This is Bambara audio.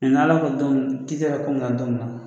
n'Ala ko ti kɛra ko na don na